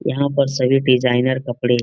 यहाँ पर सभी डिज़ाइनर कपड़े --